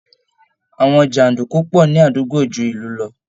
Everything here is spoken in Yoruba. Àwọn jàǹdùkú pọ̀ ní àdúgbò ju ìlú lọ